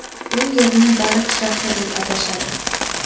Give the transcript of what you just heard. U yerni baliq shahri deb atashadi.